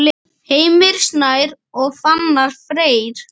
Heimir Snær og Fannar Freyr.